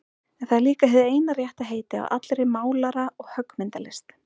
En það er líka hið eina rétta heiti á allri málara- og höggmyndalist.